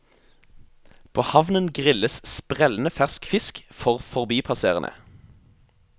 På havnen grilles sprellende fersk fisk for forbipasserende.